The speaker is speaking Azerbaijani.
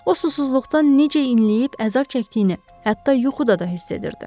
O susuzluqdan necə inləyib əzab çəkdiyini hətta yuxuda da hiss edirdi.